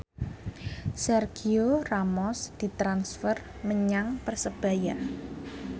Sergio Ramos ditransfer menyang Persebaya